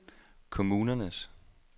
kommunernes